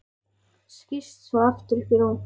Skýst svo aftur upp í rúm.